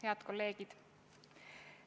Head kolleegid!